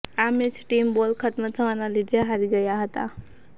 આ match team ball ખત્મ થવાના લીધે હારી ગયા હતા